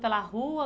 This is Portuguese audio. pela rua